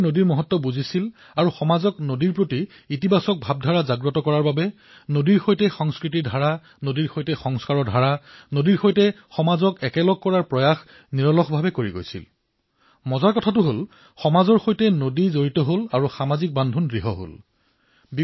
তেওঁলোকে নদীৰ গুৰুত্ব অনুধাৱন কৰিব পাৰিছিল আৰু সমাজত নদীৰ প্ৰতি কিদৰে ধনাত্মক অনুভৱ উৎপন্ন কৰিব পাৰি এক সংস্কাৰ কিদৰে গঢ়ি তুলিব পাৰি নদীৰ সৈতে সংস্কৃতিৰ ধাৰা নদীৰ সৈতে সমাজক জড়িত কৰোৱাৰ প্ৰয়াস নিৰন্তৰে চলি থাকিল আৰু আমোদজনক কথা এয়ে যে সমাজ নদীৰ সৈতেও জড়িত হল আৰু পৰস্পৰৰ মাজতো জড়িত হল